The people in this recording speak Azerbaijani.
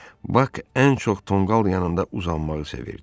Bak ən çox tonqal yanında uzanmağı sevirdi.